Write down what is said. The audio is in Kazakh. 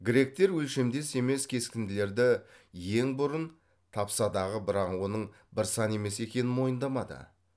гректер өлшемдес емес кескінділерді ең бұрын тапсадағы бірақ оның бір сан емес екенін мойындамады